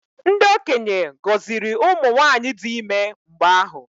Ndị okenye gọziri ụmụ nwaanyị dị ime mgbe ahụ.